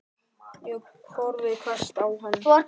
Ég horfði hvasst á hann.